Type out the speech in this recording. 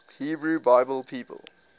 hebrew bible people